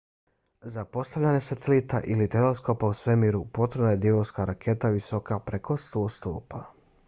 za postavljanje satelita ili teleskopa u svemiru potrebna je divovska raketa visoka preko 100 stopa